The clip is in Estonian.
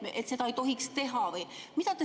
Või seda ei tohiks teha?